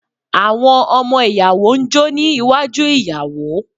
Àwọn ọmọ ìyàwó ń jó ní iwájú ìyàwó.